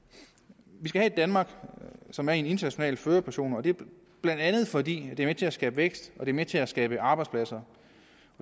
vi skal have et danmark som er i en international førerposition og det er bla fordi det er med til at skabe vækst og er med til at skabe arbejdspladser